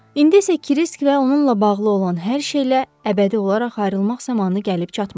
İndi isə Krisk və onunla bağlı olan hər şeylə əbədi olaraq ayrılmaq zamanı gəlib çatmışdı.